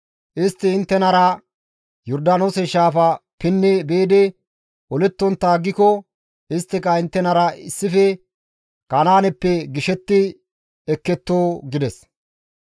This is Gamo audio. Istti inttenara Yordaanoose shaafa pinni biidi olettontta aggiko isttika inttenara issife Kanaaneppe gishetti ekketto» gides.